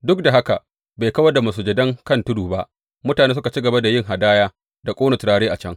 Duk da haka, bai kawar da masujadan kan tudu ba; mutane suka ci gaba da yin hadaya da ƙona turare a can.